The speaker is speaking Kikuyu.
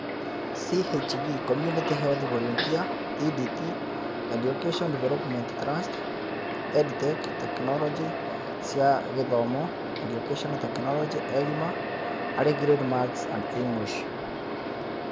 CHV community health volunteer EDT Education Development Trust EdTech Tekinoronjĩ cia gĩthomo Educational technology EGMA Early Grade Maths and English